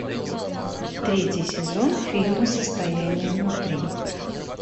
третий сезон фильма состояние внутри